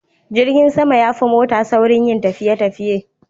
Jirgin sama yafi mota saurin yin tafiye tafiye